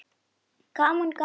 Gaman gaman!